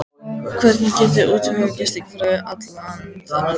Hvernig getiði útvegað gistingu fyrir allan þennan fjölda?